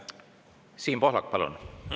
Siim Pohlak, palun!